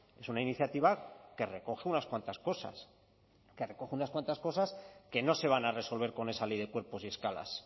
es una iniciativa que recoge unas cuantas cosas que recoge unas cuantas cosas que no se van a resolver con esa ley de cuerpos y escalas